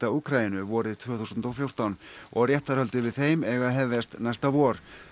Úkraínu vorið tvö þúsund og fjórtán og réttarhöld yfir þeim eiga að hefjast næsta vor